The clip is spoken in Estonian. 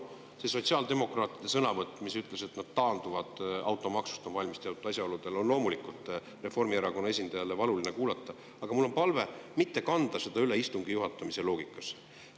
See sotsiaaldemokraatide sõnavõtt, kus öeldi, et nad on valmis teatud asjaoludel taanduma automaksust, on loomulikult Reformierakonna esindajale valuline kuulata, aga mul on palve mitte kanda seda üle istungi juhatamise loogikasse.